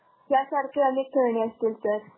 त्यासारख्या अनेक खेळणी असतील sir.